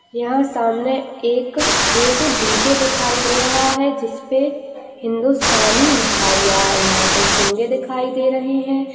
यह सामने एक एक डी जे दिखाईं दे रहा है जिसपे हिंदुस्तानी लिखा हुआ है यहाँ पे चुंगे दिखाईं दे रहे है।